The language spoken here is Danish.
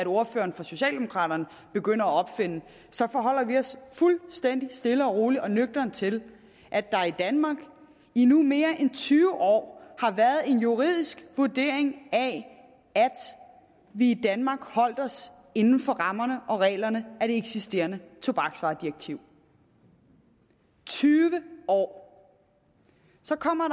ordføreren for socialdemokraterne begynder at opfinde så forholder vi os fuldstændig stille og roligt og nøgternt til at der i danmark i nu mere end tyve år har været en juridisk vurdering af at vi i danmark holdt os inden for rammerne og reglerne af det eksisterende tobaksvaredirektiv tyve år så kommer